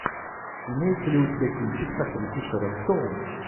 имеется ли у тебя кинчик с актрисой шерон стоун